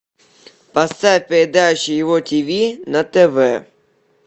поставь передачу его ти ви на тв